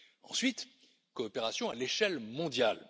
Ensuite, coopération à l'échelle mondiale.